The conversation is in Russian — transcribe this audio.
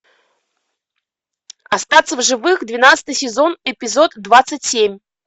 остаться в живых двенадцатый сезон эпизод двадцать семь